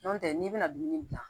Nɔntɛ n'i bɛna dumuni gilan